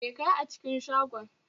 Me kayi a cikin shagon?